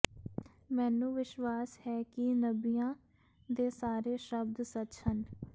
ਮੈਨੂੰ ਵਿਸ਼ਵਾਸ ਹੈ ਕਿ ਨਬੀਆਂ ਦੇ ਸਾਰੇ ਸ਼ਬਦ ਸੱਚ ਹਨ